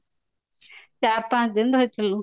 ଚାରି ,ପାଞ୍ଚ ଦିନି ରହିଥିଲୁ